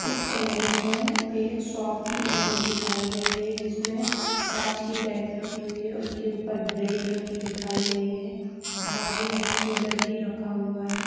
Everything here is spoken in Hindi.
इस इमेज मे एक शॉप की इमेज दिखाई गई है जिसमे कांच की रैक की रखी हुई है उसके ऊपर ब्रेड रखी दिखाई गई है बाजु मे एक कूलर भी रखा हुआ है।